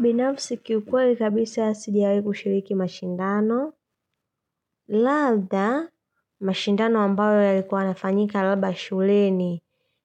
Binafsi kiukweli kabisa sijawahi kushiriki mashindano. Labda, mashindano ambayo yalikuwa yanafanyika labda shuleni,